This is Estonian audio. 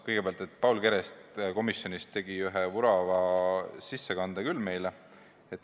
Kõigepealt Paul Keres tegi komisjonis ühe vurava ettekande meile.